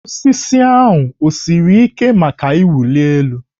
Osisi ahụ o siri ike maka ịwụli elu?